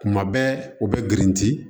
Kuma bɛɛ u bɛ girinti